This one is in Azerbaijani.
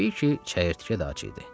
Təbii ki, çəyirtkə də ac idi.